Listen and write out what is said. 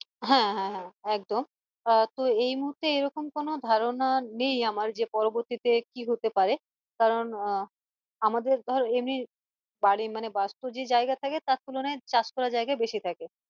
হ্যাঁ হ্যাঁ একদম আহ তো এই মুহূর্তে এরকম কোনো ধারণা নেই যে পরবর্তী তে কি হতে পারে কারণ আহ আমাদের ধর এমনি বাড়ি মানে বস্তু যে জায়গা থাকে তার তুলনায় চাষ করার জায়গা বেশি থাকে